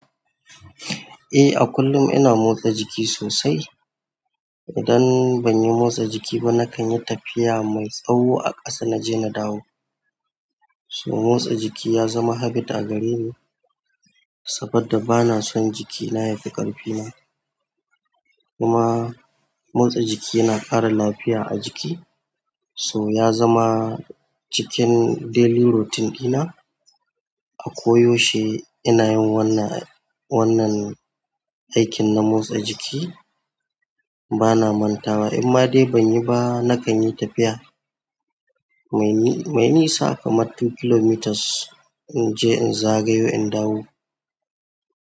Eh, a kullum ina motsa jiki sosai. Idan ban yi motsa jiki ba, na kan yi tafiya mai tsawo a ƙasa na je na dawo. So motsa jiki ya zama habit a gare ni saboda bana son jikina ya fi ƙarfi na. Kuma motsa jiki na ƙara lafiya a jiki, so ya zama cikin daily routine ɗina. A koyaushe ina yin wannan, wannan aikin na motsa jiki. Bana mantawa, in ma dai ban yi ba, na kan yi tafiya banyi nisa kaman two kilometers inje in zagayo in dawo.